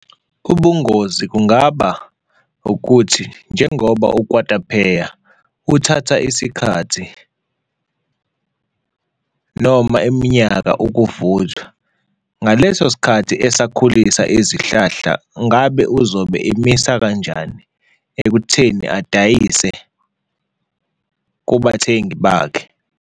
Ubungozi kungaba ukuthi njengoba ukwatapeya uthatha isikhathi noma iminyaka ukuvuthwa, ngaleso sikhathi esakhulisa izihlahla, ngabe uzobe emisa kanjani ekutheni adayise kubathengi bakhe.